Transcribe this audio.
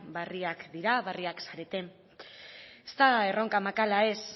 berriak dira berriak zarete ez da erronka makala ez